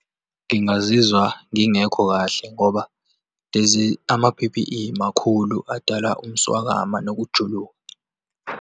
Ngingazizwa ngingekho kahle ngoba lezi, ama-P_P_E makhulu, adala umswakama nokujuluka.